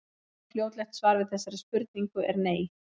Einfalt og fljótlegt svar við þessari spurningu er nei.